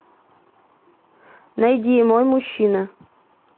найди мой мужчина